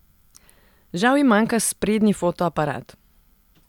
Žal ji manjka sprednji fotoaparat.